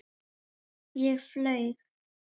Ég reis á fætur.